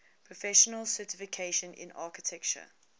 professional certification in architecture